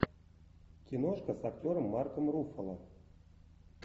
киношка с актером марком руффало